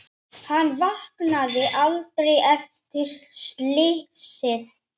Hann vaknaði aldrei eftir slysið.